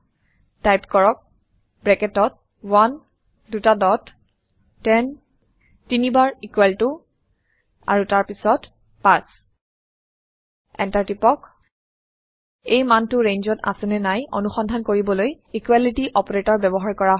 type কৰক ব্ৰেকেটত 1 দুটা ডট 10 তিনিবাৰ ইকুয়েল টু তাৰপিছত ৫ এণ্টাৰ টিপক এই মানটো ৰেঞ্জত আছে নে নাই অনুসন্ধান কৰিবলৈ ইকোৱেলিটি অপাৰেটৰ ব্যৱহাৰ কৰা হয়